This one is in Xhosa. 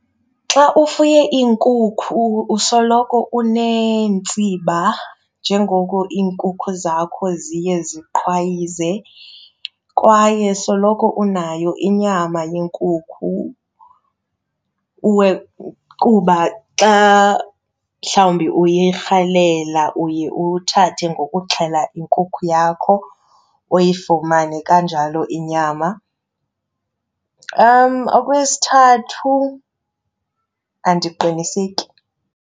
Xa ufuye iinkukhu usoloko uneentsiba njengoko iinkukhu zakho ziye ziqhwayize. Kwaye soloko unayo inyama yenkukhu kuba xa mhlawumbi uyirhalela uye uthathe ngokuxhela inkukhu yakho uyifumane kanjalo inyama. Okwesithathu, andiqiniseki.